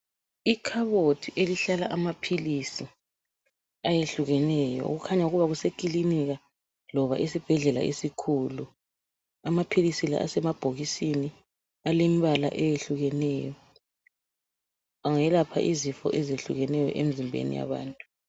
Ikhabothi elihlala amaphilisi ayehlukeneyo okukhanya ukuba kusekilinika kumbe esibhedlela esikhulu amaphilisi asemabhokisini alembala eyehlukeneyo. Angelapha izifo ezehlukeneyo emzimbeni yabantu.